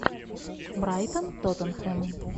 брайтон тоттенхэм